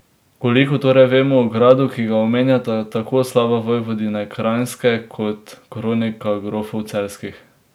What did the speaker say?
Koliko torej vemo o gradu, ki ga omenjata tako Slava Vojvodine kranjske kot Kronika grofov Celjskih?